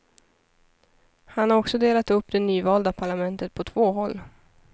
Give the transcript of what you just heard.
Han har också delat upp det nyvalda parlamentet på två håll.